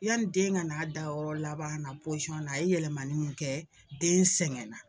Yani den ka n'a dayɔrɔ laban na posiyɔn na a ye yɛlɛmali kɛ den sɛgɛnna.